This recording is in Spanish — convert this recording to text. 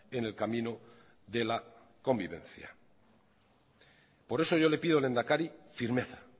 en el camino de la convivencia por eso yo le pido lehendakari firmeza